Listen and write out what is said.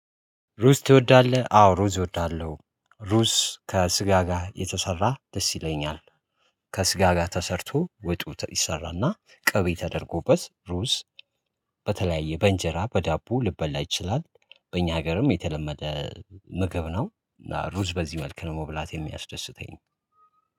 ሩዝ ትወዳለህ? አዎ ሩዝ እወዳለሁ ሩዝ ከስጋ ጋር የተሰራ ደስ ይለኛል። ከስጋ ጋር ተሰርቶ ወጡ ተ ይሠራ እና ቀቤ ተደርጎበት ሩዝ። በተለያየ በእንጀራ በዳቦ ሊበላ ይችላል። በእኛ ሀገርም የተለመደ ምግብ ነው። እና ሩዝ በዚህ መልክ ነው መብላት የሚያስደስተኝ